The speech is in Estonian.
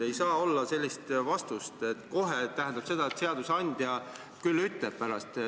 Ei saa olla sellist vastust, et "kohe" tähendab seda, et küll seadusandja pärast ütleb.